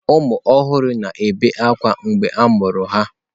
Ụmụ ọhụrụ na-ebe akwa mgbe a mụrụ ha.